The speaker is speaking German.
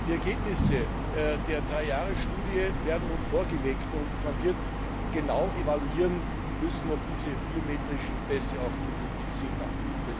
Die Ergebnisse der Dreijahresstudie werden nun vorgelegt, und man wird genau evaluieren müssen, ob diese biometrischen Pässe auch endgültig Sinn machen.